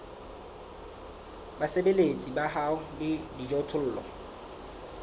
basebeletsi ba hao le dijothollo